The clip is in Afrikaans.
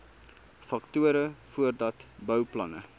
faktore voordat bouplanne